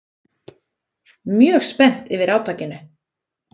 Mjög spennt yfir átakinu